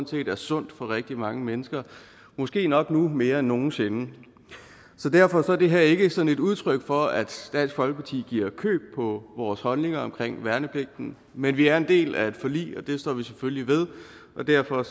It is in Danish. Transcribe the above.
set er sundt for rigtig mange mennesker måske nok nu mere end nogen sinde så derfor er det her ikke sådan et udtryk for at dansk folkeparti giver køb på vores holdninger til værnepligten men vi er en del af et forlig og det står vi selvfølgelig ved og derfor